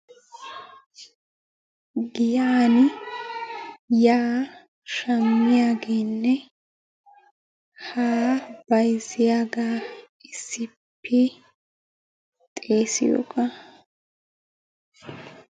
Giyan yaa shammiyageenne haa bayizziyagaa issippe xeesiyogaa.